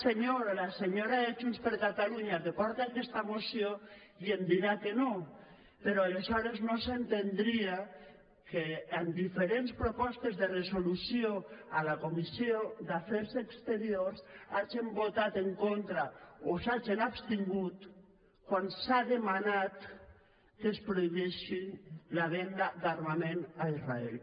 senyora de junts per catalunya que porta aquesta moció i em dirà que no però aleshores no s’entendria que en diferents propostes de resolució a la comissió d’afers exteriors hagin votat en contra o s’hagin abstingut quan s’ha demanat que es prohibeixi la venda d’armament a israel